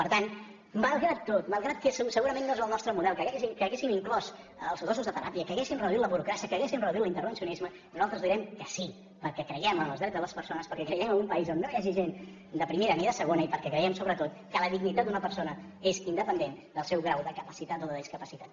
per tant malgrat tot malgrat que segurament no és el nostre model que hauríem inclòs els gossos de teràpia que hauríem reduït la burocràcia que hauríem reduït l’intervencionisme nosaltres direm que sí perquè creiem en els drets de les persones perquè creiem en un país on no hi hagi gent de primera ni de segona i perquè creiem sobretot que la dignitat d’una persona és independent del seu grau de capacitat o de discapacitat